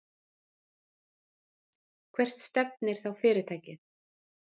Og hvert stefnir þá fyrirtækið?